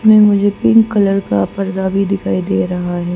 मुझे pink colour का पर्दा भी दिखाई दे रहा है।